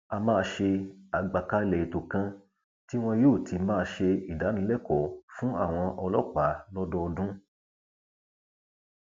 a máa ṣe àgbàkalẹ ètò kan tí wọn yóò ti máa ṣe ìdánilẹkọọ fún àwọn ọlọpàá lọdọọdún